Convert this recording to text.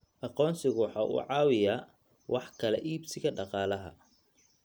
Aqoonsigu waxa uu caawiyaa wax kala iibsiga dhaqaalaha.